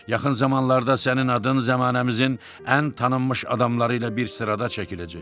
Yaxın zamanlarda sənin adın zəmanəmizin ən tanınmış adamları ilə bir sırada çəkiləcək.